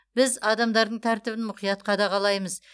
біз адамдардың тәртібін мұқият қадағалаймыз